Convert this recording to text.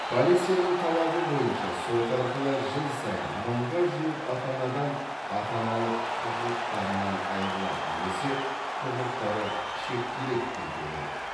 полицияның талабы бойынша сот арқылы жыл сайын мыңға жуық ата анадан ата аналық құқықтарынан айырылады немесе құқықтары шектеледі дейді ол